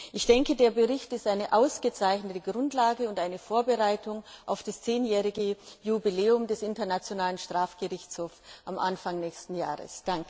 Ich denke, der Bericht ist eine ausgezeichnete Grundlage und eine Vorbereitung auf das zehnjährige Jubiläum des Internationalen Strafgerichtshofs am Anfang nächsten Jahres!